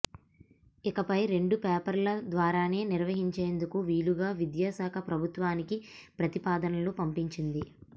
ఇకపై రెండు పేపర్ల ద్వారానే నిర్వహించేందుకు వీలుగా విద్యా శాఖ ప్రభుత్వానికి ప్రతిపాదనలు పంపింది